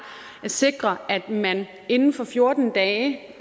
at sikre at man inden for fjorten dage